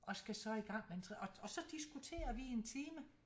Og skal så igang med en og så diskuterer vi i en time